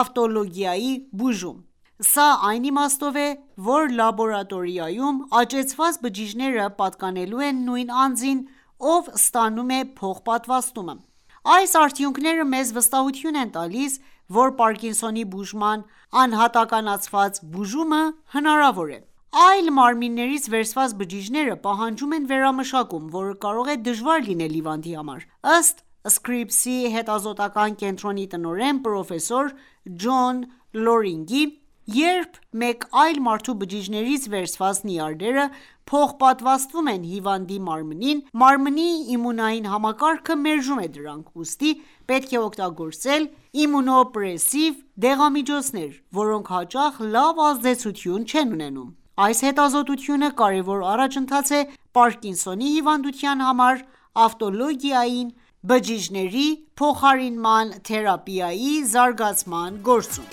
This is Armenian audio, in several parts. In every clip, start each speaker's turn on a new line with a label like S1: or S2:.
S1: ավտոլոգային բուժում: Սա այն իմաստով է, որ լաբորատորիայում աճեցված բջիջները պատկանելու են նույն անձին, ով ստանում է փոխպատվաստումը: Այս արդյունքները մեզ վստահություն են տալիս, որ Պարկինսոնի բուժման անհատականացված բուժումը հնարավոր է: Այլ մարմիններից վերցված բջիջները պահանջում են վերամշակում, որը կարող է դժվար լինել հիվանդի համար: Ըստ Scripps հետազոտական կենտրոնի տնօրեն ,պրոֆեսոր Ջոն Լորինգի, երբ մեկ այլ մարդու բջիջներից վերցված նյարդերը փոխպատվաստվում են հիվանդի մարմնին, մարմնի իմունային համակարգը մերժում է դրանք: Ուստի պետք է օգտագործել իմունոպրեսիվ դեղամիջոցներ, որոնք հաճախ լավ ազդեցություն չեն ունենում։ Այս հետազոտությունը կարևոր առաջընթաց է Պարկինսոնի հիվանդության համար ավտոլոգային բջիջների փոխարինման թերապիայի զարգացման գործում: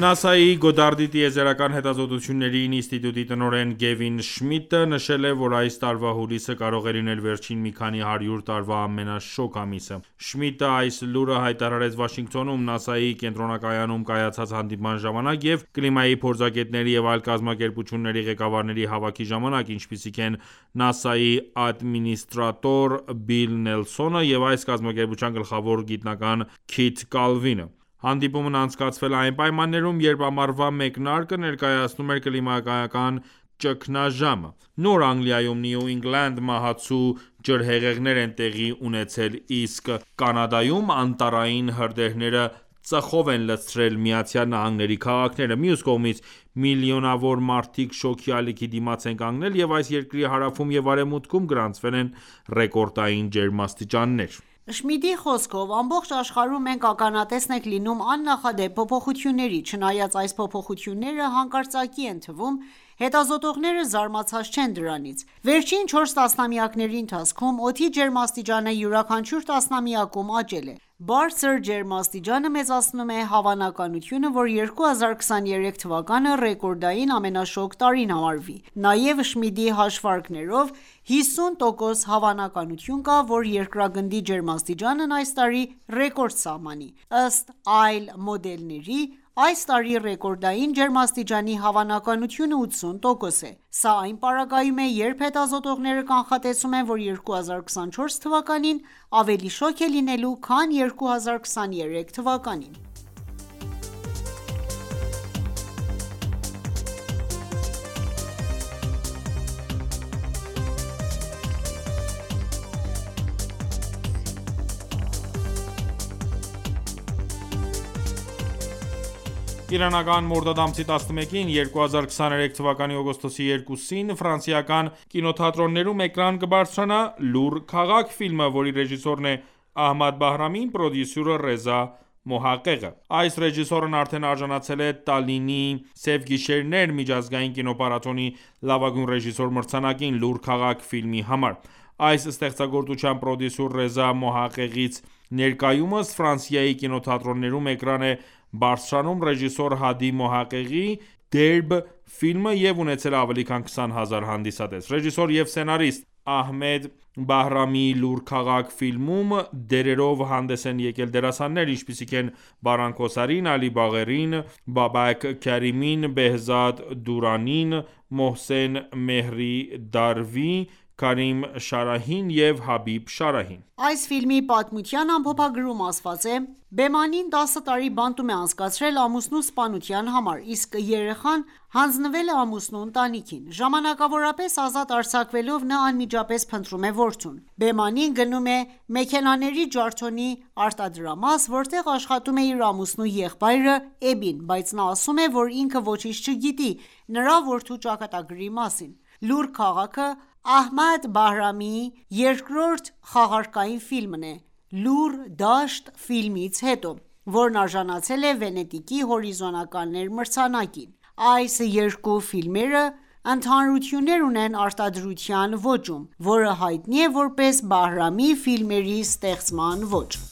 S2: ՆԱՍԱ-ի Գոդարդի տիեզերական հետազոտությունների ինստիտուտի տնօրեն Գևին Շմիդտը նշել է, որ այս տարվա հուլիսը կարող է լինել վերջին մի քանի հարյուր տարվա ամենաշոգ ամիսը։ Շմիդտը այս լուրը հայտարարեց Վաշինգտոնում ՆԱՍԱ-ի կենտրոնակայանում կայացած հանդիպման ժամանակ և կլիմայի փորձագետների և այլ կազմակերպությունների ղեկավարների հավաքի ժամանակ, ինչպիսիք են ՆԱՍԱ-ի ադմինիստրատոր Բիլ Նելսոնը և այս կազմակերպության գլխավոր գիտնական Քիթ Կալվինը: Հանդիպումն անցկացվել է այն պայմաններում, երբ ամառվա մեկնարկը ներկայացնում էր կլիմայական ճգնաժամը: Նոր Անգլիայում (New England) մահացու ջրհեղեղներ են տեղի ունեցել, իսկ Կանադայում անտառային հրդեհները ծխով են լցրել ԱՄՆ-ի քաղաքները։ Մյուս կողմից, միլիոնավոր մարդիկ շոգի ալիքի դիմաց են կանգնել, և այս երկրի հարավում և արևմուտքում գրանցվել են ռեկորդային ջերմաստիճաններ։
S1: Շմիդտի խոսքով՝ ամբողջ աշխարհում մենք ականատես ենք լինում աննախադեպ փոփոխությունների։ Չնայած այս փոփոխությունները հանկարծակի են թվում, հետազոտողները զարմացած չեն դրանցից: Վերջին 4 տասնամյակների ընթացքում օդի ջերմաստիճանը յուրաքանչյուր տասնամյակում աճել է: Բարձր ջերմաստիճանը մեծացնում է հավանականությունը, որ 2023 թվականը ռեկորդային ամենաշոգ տարին համարվի: Նաև, Շմիդտի հաշվարկներով, 50% հավանականություն կա, որ երկրագնդի ջերմաստիճանն այս տարի ռեկորդ սահմանի։ Ըստ այլ մոդելների՝ այս տարի ռեկորդային ջերմաստիճանի հավանականությունը 80% է։ Սա այն պարագայում է ,երբ հետազոտողները կանխատեսում են, որ 2024 թվականին ավելի շոգ է լինելու, քան 2023 թվականին։
S2: Իրանական մորդադ ամսի 11-ին (2023 թվականի օգոստոսի 2-ին) ֆրանսիական կինոթատրոններում էկրան կբարձրանա «Լուռ քաղաք» ֆիլմը, որի ռեժիսորն է Ահմադ Բահրամին, պրոդյուսերը Ռեզա Մոհաղեղը։ Այս ռեժիսորն արդեն արժանացել է Տալլինի «Սև գիշերներ» միջազգային կինոփառատոնի լավագույն ռեժիսոր մրցանակին՝ «Լուռ քաղաք» ֆիլմի համար։ Այս ստեղծագործության պրոդյուսեր Ռեզա Մոհաղեղից ներկայումս Ֆրանսիայի կինոթատրոններում էկրան է բարձրանում ռեժիսոր Հադի Մոհաղեղի «Դերբ» ֆիլմը և ունեցել է ավելի քան 20 հազար հանդիսատես։ Ռեժիսոր և սցենարիստ Ահմեդ Բահրամիի «Լուռ քաղաք» ֆիլմում դերերով հանդես են եկել դերասաններ, ինչպիսիք են՝ Բարան Քոսարին, Ալի Բաղերին, Բաբաք Քարիմին, Բեհզադ Դուրանին, Մոհսեն Մեհրի Դարվի, Քարիմ Շարահին և Հաբիբ Շարահին։
S1: Այս ֆիլմի պատմության ամփոփագրում ասված է.« Բեմանին 10 տարի բանտում է անցկացրել ամուսնու սպանության համար, իսկ երեխան հանձնվել է ամուսնու ընտանիքին: Ժամանակավորապես ազատ արձակվելով՝ նա անմիջապես փնտրում է որդուն։ Բեմանին գնում է մեքենաների ջարդոնի արտադրամաս, որտեղ աշխատում է իր ամուսնու եղբայրը Էբին, բայց նա ասում է, որ ինքը ոչինչ չգիտի նրա որդու ճակատագրի մասին...»: «Լուռ քաղաքը» Ահմեդ Բահրամիի երկրորդ խաղարկային ֆիլմն է «Լուռ դաշտ» ֆիլմից հետո, որն արժանացել է Վենետիկի «հորիզոններ» մրցանակին։ Այս երկու ֆիլմերը ընդհանրություններ ունեն արտադրության ոճում, որը հայտնի է որպես Բահրամի ֆիլմերի ստեղծման ոճ։